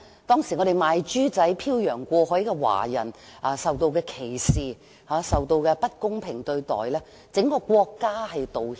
當時"賣豬仔"飄洋過海的華人受到歧視和不公平對待，整個國家就此向他們作出道歉。